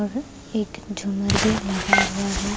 वह्ह एक झूमर भी लगा हुआ है।